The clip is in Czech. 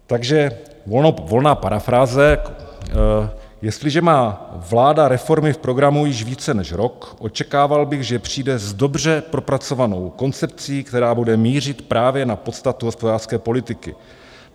Takže ona parafráze, jestliže má vláda reformy v programu již více než rok, očekával bych, že přijde s dobře propracovanou koncepcí, která bude mířit právě na podstatu hospodářské politiky.